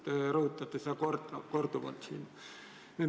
Te olete seda korduvalt rõhutanud.